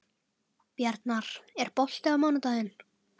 Bjarnar, er bolti á mánudaginn?